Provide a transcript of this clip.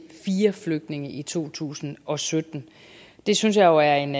fire flygtninge i to tusind og sytten det synes jeg jo er en